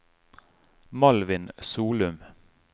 Malvin Solum